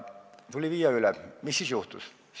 Mis siis juhtus?